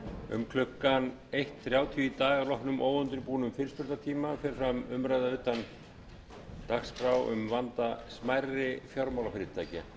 um klukkan eitt þrjátíu í dag að loknum óundirbúnum fyrirspurnatíma fer fram umræða utan dagskrár um vanda smærri fjármálafyrirtækja